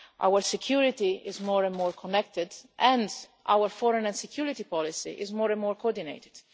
Our security is more and more connected and our foreign and security policy is more and more coordinated.